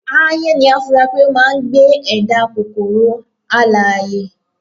aáyán ni a fura pé ó máà ń gbé ẹ̀dá kòkoro alààyè